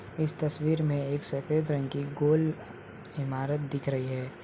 इस तस्वीर में एक सफेद रंग की गोल इमारत दिख रही है।